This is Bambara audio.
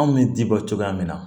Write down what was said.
Anw bɛ ji bɔ cogoya min na